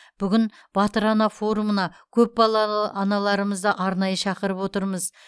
бүгін батыр ана форумына көпбалалы аналарымызды арнайы шақырып отырмыз